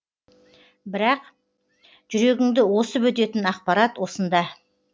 бірақ жүрегіңді осып өтетін ақпарат осында